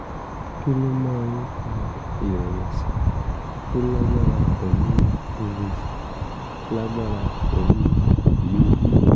kí ló máa ń fa ìrẹ̀wẹ̀sì tó lágbára pẹ̀lú oòyì lágbára pẹ̀lú oòyì ojú?